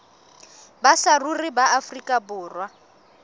ba saruri ba afrika borwa